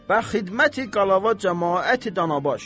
Bə xidməti Qalava camaati danabaş.